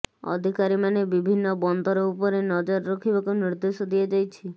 ଅଧିକାରୀମାନେ ବିଭିନ୍ନ ବନ୍ଦର ଉପରେ ନଜର ରଖିବାକୁ ନିର୍ଦ୍ଦେଶ ଦିଆଯାଇଛି